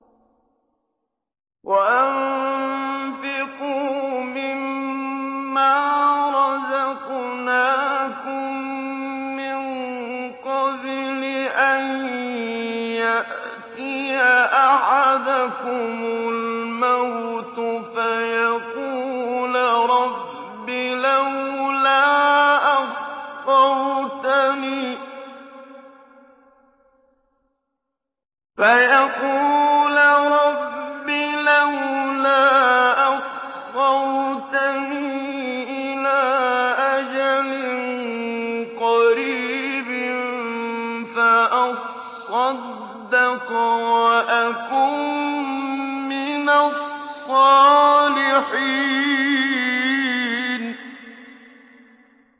وَأَنفِقُوا مِن مَّا رَزَقْنَاكُم مِّن قَبْلِ أَن يَأْتِيَ أَحَدَكُمُ الْمَوْتُ فَيَقُولَ رَبِّ لَوْلَا أَخَّرْتَنِي إِلَىٰ أَجَلٍ قَرِيبٍ فَأَصَّدَّقَ وَأَكُن مِّنَ الصَّالِحِينَ